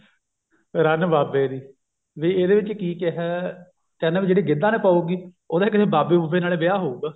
ਰੰਨ ਬਾਬੇ ਦੀ ਵੀ ਇਹਦੇ ਵਿੱਚ ਕੀ ਕਿਹਾ ਕਹਿੰਦਾ ਵੀ ਜਿਹੜੀ ਗਿੱਧਾ ਨੀ ਪਾਉਗੀ ਉਹਦਾ ਕਿਸੇ ਬਾਬੇ ਬੁਬੇ ਨਾਲ ਹੀ ਵਿਆਹ ਹੋਊ